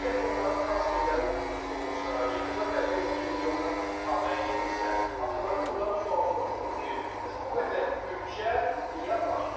Əgər ki, onların transferləri uğursuz olursa, yekunda bəlli olur ki, milyonlar havaya gedirsə, avtomatik olaraq sual soruşulur ki, bəs bu qədər büdcə niyə var?